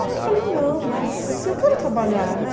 Aí eu falei, não, mas eu quero trabalhar, né?